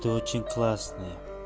ты очень классная